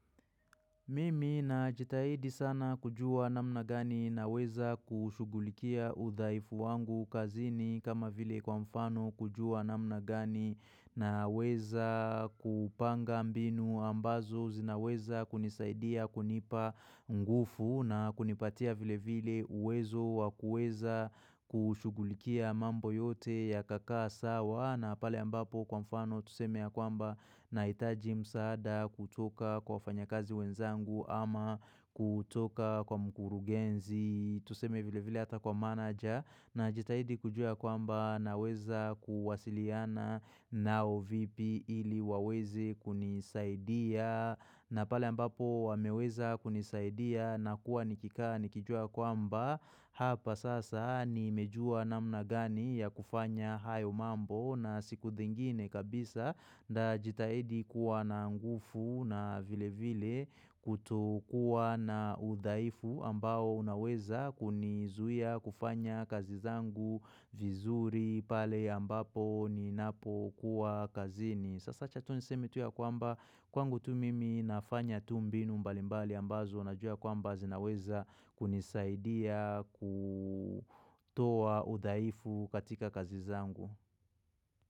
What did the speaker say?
Mimi najitahidi sana kujua namna gani naweza kushughulikia udhaifu wangu kazini kama vile kwa mfano kujua namna gani naweza kupanga mbinu ambazo zinaweza kunisaidia kunipa nguvu na kunipatia vile vile uwezo wa kueza kushughulikia mambo yote yakakaa sawa na pale ambapo kwa mfano tuseme ya kwamba nahitaji msaada kutoka kwa wafanyakazi wenzangu. Ama kutoka kwa mkurugenzi, tuseme vile vile hata kwa manager Najitahidi kujua kwamba naweza kuwasiliana na OVP ili waweze kunisaidia na pale ambapo wameweza kunisaidia nakuwa nikikaa nikijua kwamba Hapa sasa nimejua namna gani ya kufanya hayo mambo na siku ingine kabisa Nitajitahidi kuwa na nguvu na vile vile kutokuwa na udhaifu ambao unaweza kunizuia kufanya kazi zangu vizuri pale ambapo ninapokuwa kazini. Sasa acha tu niseme tu ya kwamba kwangu tu mimi nafanya tu mbinu mbalimbali ambazo najua kwamba zinaweza kunisaidia kutoa udhaifu katika kazi zangu.